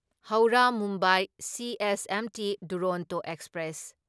Howrah Mumbai CSMT Duronto express